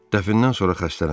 Dəfnən sonra xəstələndim.